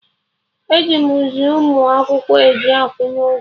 E ji zi mụ akwụkwọ eji akwụnye ụgwọ